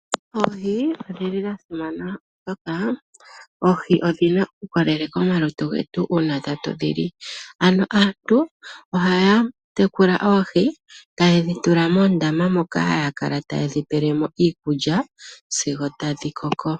Oohi odhili dha simana oshoka oohi odhina uukolele komalutu getu uuna tatu dhi li. Ano aantu ohaya tekula oohi taye dhi tula moondama moka haya kala taye dhi pele mo iikulya sigo tadhi koko.